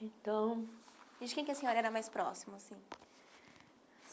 Então... E de quem que a senhora era mais próxima, assim?